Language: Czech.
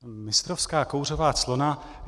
Mistrovská kouřová clona.